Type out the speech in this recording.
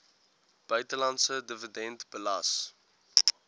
buitelandse dividend belas